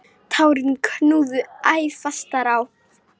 Tárin knúðu æ fastar á.